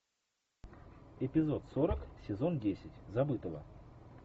эпизод сорок сезон десять забытого